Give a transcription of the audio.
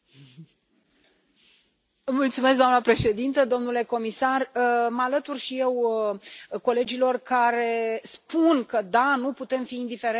Doamnă președintă, domnule comisar, mă alătur și eu colegilor care spun că nu putem fi indiferenți față de ceea ce se întâmplă acum în Congo.